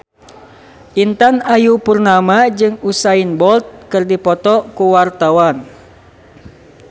Intan Ayu Purnama jeung Usain Bolt keur dipoto ku wartawan